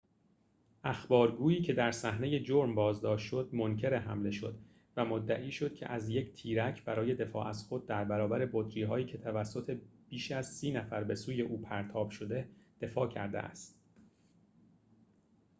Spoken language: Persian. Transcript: اخبارگویی که در صحنه جرم بازداشت شد منکر حمله شد و مدعی شد که از تیرک برای دفاع از خود در برابر بطری‌هایی که توسط بیش از سی نفر به سوی او پرتاب شده دفاع کرده است